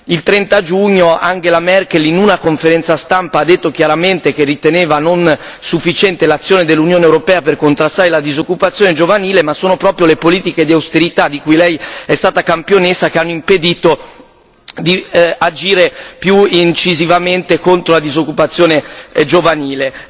Il 30 giugno, Angela Merkel in una conferenza stampa ha detto chiaramente che riteneva non sufficiente l'azione dell'Unione europea per contrastare la disoccupazione giovanile, ma sono proprio le politiche di austerità di cui lei è stata campionessa che hanno impedito di agire più incisivamente contro la disoccupazione giovanile.